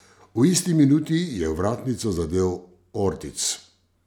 V isti minuti je vratnico zadel Ortiz.